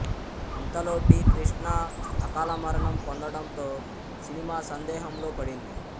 ఇంతలో టి కృష్ణ అకాలమరణం పొందడంతో సినిమా సందేహంలో పడింది